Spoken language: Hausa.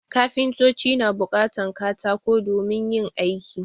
Kafintoci na buƙatan katako domin yin aiki